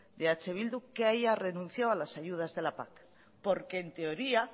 de eh bildu que haya renunciado a las ayudas de las pac porque en teoría